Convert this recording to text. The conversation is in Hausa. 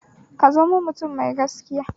Ka zamo mutum mai gaskiya